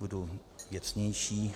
budu věcnější.